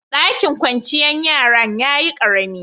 Ɗakin kwanciyar yaran ya yi ƙaremi.